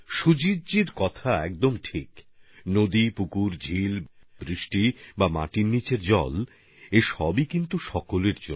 সুজিতজির কথা একদম ঠিক নদী সরোবর হ্রদ বর্ষা বা মাটির নীচের জল প্রত্যেকের জন্য